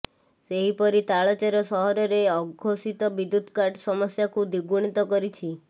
ସେହିପରି ତାଳଚେର ସହରରେ ଅଘୋଷିତ ବିଦ୍ୟୁତ୍ କାଟ ସମସ୍ୟାକୁ ଦ୍ୱିଗୁଣିତ କରିଛି